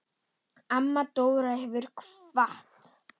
Amma Dóra hefur kvatt.